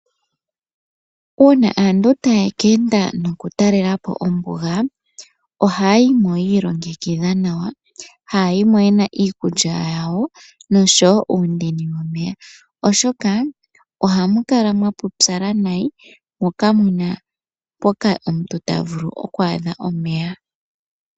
Uuna aantu taya ka talelapo ombuga. Ohaya yi mo yi ilongekidha nawa. Ohaya yi mo yena iikulya nosho woo omeya. Oshoka ohamu kala mwa putsala nayi mo ka muna omeya.